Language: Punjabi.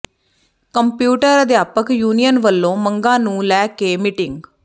ਕੰਪਿਊਟਰ ਅਧਿਆਪਕ ਯੂਨੀਅਨ ਵੱਲੋਂ ਮੰਗਾਂ ਨੂੰ ਲੈ ਕੇ ਮੀਟਿੰਗ